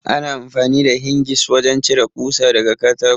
Ana amfani da Hingis wajen cire ɓusa daga katako.